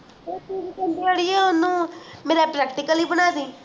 ਓਹਨੂੰ ਮੇਰਾ practical ਹੀ ਬਣਦੀ